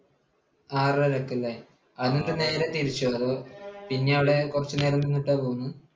ആറരയ്ക്ക് അല്ലേ? എന്നിട്ട് നേരെ തിരിച്ചോ, അതോ പിന്നെ അവിടെ കുറച്ചുനേരം നിന്നിട്ടാണോ പോന്നത്?